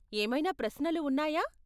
ఏమైనా ప్రశ్నలు ఉన్నాయా?